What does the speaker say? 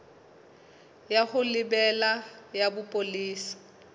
ya ho lebela ya bopolesa